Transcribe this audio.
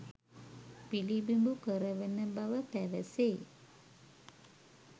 පිළිබිඹු කරවන බව පැවසේ.